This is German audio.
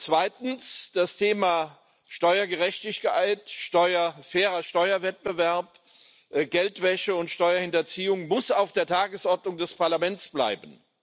Zweitens Das Thema Steuergerechtigkeit, fairer Steuerwettbewerb, Geldwäsche und Steuerhinterziehung muss auf der Tagesordnung des Parlaments bleiben.